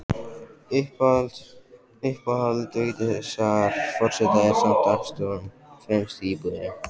Uppáhald Vigdísar forseta er samt dagstofan, fremst í íbúðinni.